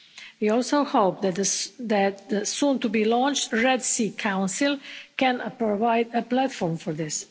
We also hope that the soon-to-be-launched Red Sea Council can provide a platform for this.